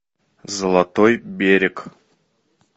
золотой берег